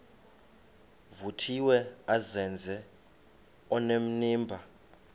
vuthiwe azenze onenimba